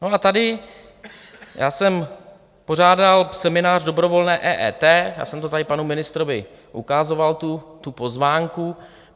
No a tady já jsem pořádal seminář dobrovolné EET, já jsem to tady panu ministrovi ukazoval, tu pozvánku.